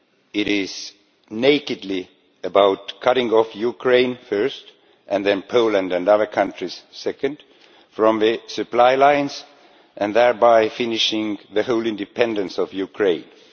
it is nakedly about cutting off Ukraine first, and then Poland and other countries second, from the supply lines and thereby finishing the whole independence of Ukraine.